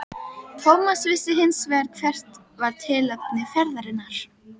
Thomas vissi hins vegar hvert var tilefni ferðarinnar.